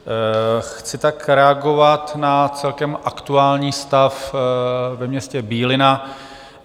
Chci tak reagovat na celkem aktuální stav ve městě Bílina.